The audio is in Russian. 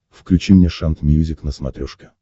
включи мне шант мьюзик на смотрешке